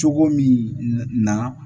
Cogo min na